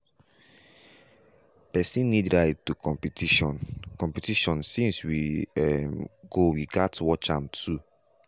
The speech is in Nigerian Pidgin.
pesin need ride to competition competition since we um go we gas watch am too.